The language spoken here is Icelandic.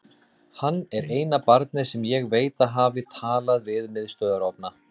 Hann er eina barnið sem ég veit að hafi talað við miðstöðvarofna.